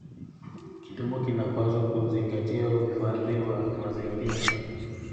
Kilimo kinapaswa kuzingatia uhifadhi wa mazingira.